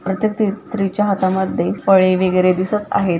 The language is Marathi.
प्रत्येक स्त्री स्त्रीच्या हातामध्ये फळे वेगैरे दिसत आहे.